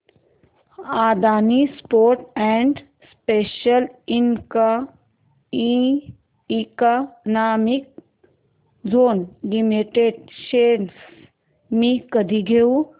Adani ports and special economic zone limited shares मी कधी घेऊ